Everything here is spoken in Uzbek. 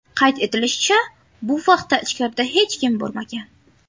Qayd etilishicha, bu vaqtda ichkarida hech kim bo‘lmagan.